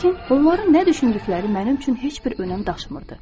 Lakin onların nə düşündükləri mənim üçün heç bir önəm daşımırdı.